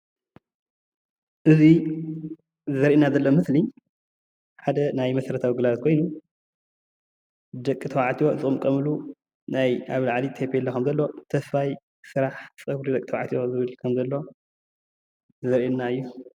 እዚ ዘርእየና ዘሎ ምስሊ ሓደ ናይ መሠረታዊ ግልጋሎት ኮይኑ ደቂ ተባዕትዮ ዝቕምቀምሉ ኮይኑ ኣብ ላዕሊ ታፔላ ከም ዘሎ ተስፋይ ስራሕቲ ፀጉሪ ደቂ ተባዕትዮ ዝብል ዘርእየና እዩ።